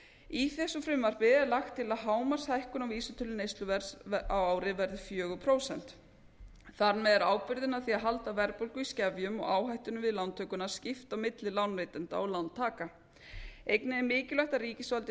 í þessu frumvarpi er lagt til að hámarkshækkun á vísitölu neysluverðs á ári verði fjögur prósent þar með er ábyrgðinni af því að halda verðbólgu í skefjum og áhættunni við lántökuna skipt á milli lánveitanda og lántaka einnig er mikilvægt að ríkisvaldið